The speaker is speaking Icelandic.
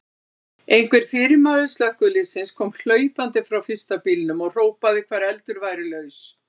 Einhver fyrirmaður slökkviliðsins kom hlaupandi frá fyrsta bílnum og hrópaði hvar eldur væri laus.